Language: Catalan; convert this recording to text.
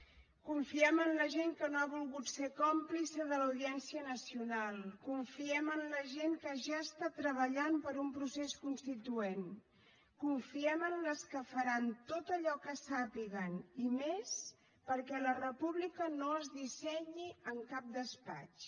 confiem en la gent que no ha volgut ser còmplice de l’audiència nacional confiem en la gent que ja està treballant per un procés constituent confiem en les que faran tot allò que sàpiguen i més perquè la república no es dissenyi en cap despatx